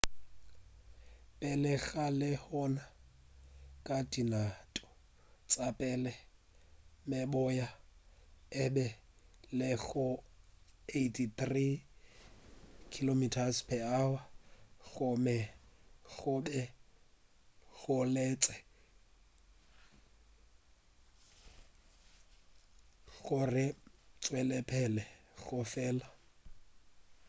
pele ga lehono ka dinako tša pele meboya e be e le go 83 km/h gomme go be go letetšwe gore e tšwelepele go fela maatla